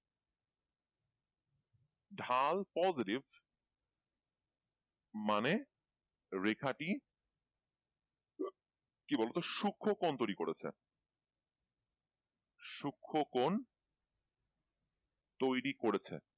ঢাল positive মানে রেখাটি কি বলতো সূক্ষ্মকোণ তৈরি করেছে, সূক্ষ্মকোণ তৈরি করেছে।